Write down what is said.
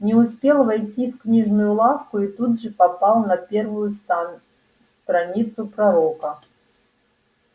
не успел войти в книжную лавку и тут же попал на первую страницу пророка